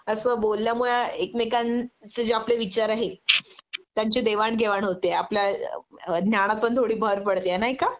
अस बोलल्यामुळे एकमेकांचे जे आपले विचार आहे त्यांची देवाण घेवाण होते.आपल्या ज्ञानात पण थोडी भर पडते नाही का?